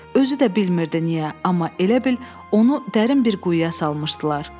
Özü də bilmirdi niyə, amma elə bil onu dərin bir quyuya salmışdılar.